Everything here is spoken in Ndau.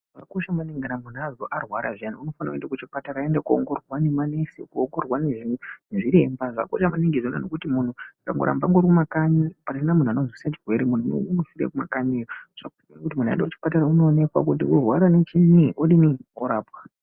Zvakakosha maningi, kuti kana munhu arwara zviani anofana kuenda kuchipatara kunoongororwa nemanesi ,kuongororwa nezviremba, zvakakosha maningi izvona ngekuti munhu akaramba arimumakanyi pasina munhu anozwisisa chirwere munhu iyeye unofire kumakanyi .Zvakakosha kuti munhu aende kuchipatara anowonekwa kuti unorwara nechini odini orapwa.